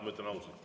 Ma ütlen ausalt.